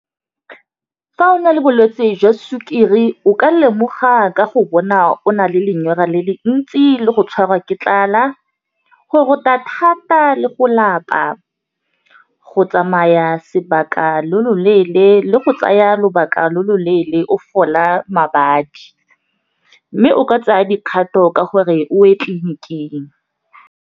Fa o na le bolwetse jwa sukiri o ka lemoga ka go bona o na le lenyora le le ntsi, le go tshwarwa ke tlala, go rota thata le go lapa, go tsamaya sebaka lo lo leele, le go tsaya lobaka lo lo leele go fola mabadi, mme o ka tsaya dikgato ka gore o ye tleliniking.